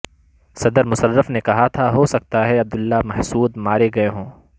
صدر مشرف نے کہا تھا ہو سکتا ہے عبداللہ محسود مارے گئے ہوں